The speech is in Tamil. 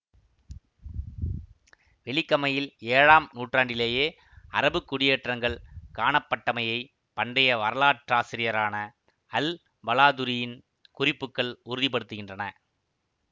வெலிகமையில் ஏழாம் நூற்றாண்டிலேயே அறபுக் குடியேற்றங்கள் காணப்பட்டமையை பண்டைய வரலாற்றாசிரியரான அல்பலாதுரியின் குறிப்புக்கள் உறுதி படுத்துகின்றன